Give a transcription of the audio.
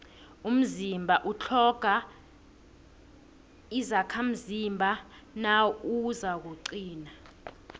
umzimba utlhoga izakhamzimba nawuzakuqina